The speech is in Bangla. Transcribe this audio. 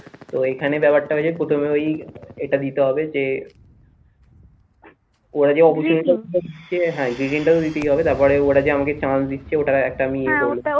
তো এইখানে ব্যাপার টা হয়েছে প্রথমে ওই এটা দিতে হবে যে হ্যাঁ greetings তাও দিতেই হবে, তারপর ওরা যে আমাকে chance দিচ্ছে ওটার আমার একটা